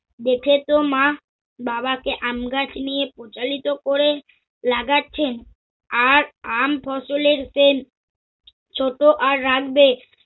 দেখেছ মা, বাবাকে আমগাছ নিয়ে পচালিত করে লাগাচ্ছেন আর আম ফসলের সেন ছোট আর রাগবে